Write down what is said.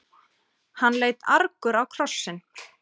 Hann leit argur á krossinn.